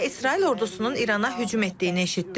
Və İsrail ordusunun İrana hücum etdiyini eşitdim.